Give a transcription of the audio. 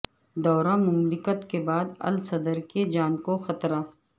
دورہ مملکت کے بعد الصدر کی جان کو خطرہ